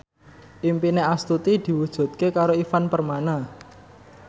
impine Astuti diwujudke karo Ivan Permana